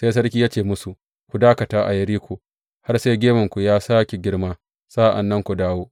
Sai sarki ya ce musu, Ku dakata a Yeriko har sai gemunku ya sāke girma, sa’an nan ku dawo.